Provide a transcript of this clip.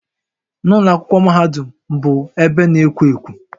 Ụlọ akwụkwọ mahadum bụ ebe na-ekwo ekwo